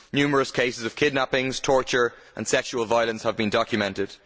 Numerous cases of kidnappings, torture and sexual violence have been documented.